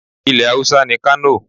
Ilẹ̀ Haúsá ni Kano.